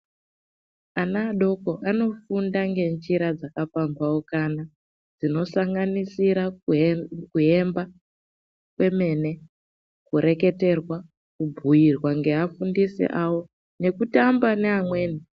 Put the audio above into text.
Ana adoko ano funda ngenjira dzaka pambaukana dzinosanganisa kuemba kwemene kureketerwa kubhuirwa ngea fundisi awo ngeku tamba ne amweni.